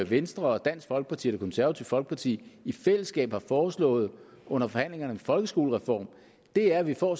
venstre dansk folkeparti og det konservative folkeparti i fællesskab har foreslået under forhandlingerne om en folkeskolereform er at vi får